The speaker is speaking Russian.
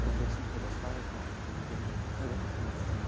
рублей семьсот осталось до конца недели ой до конца месяца